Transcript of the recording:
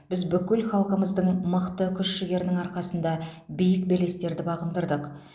біз бүкіл халқымыздың мықты күш жігерінің арқасында биік белестерді бағындырдық